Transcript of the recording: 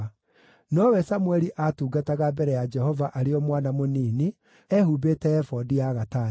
Nowe Samũeli aatungataga mbere ya Jehova arĩ o mwana mũnini, ehumbĩte ebodi ya gatani.